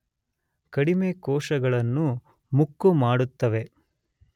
ಕಡಿಮೆ ಕೋಶಗಳನ್ನು ಮುಕ್ಕು ಮಾಡುತ್ತವೆ